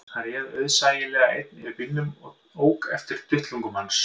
Hann réð auðsæilega einn yfir bílnum sem ók eftir duttlungum hans